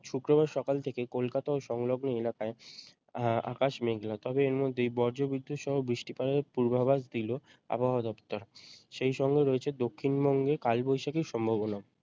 শুক্রবার সকাল থেকে কলকাতা ও সংলগ্ন এলাকায় আ~ আকাশ মেঘলা তবে এর মধ্যেই বজ্রবিদ্যুৎ সহ বৃষ্টিপাতের পূর্বাভাস দিল আবহাওয়া দফতর সেই সঙ্গে রয়েছে দক্ষিণবঙ্গে কালবৈশাখীর সম্ভাবনাও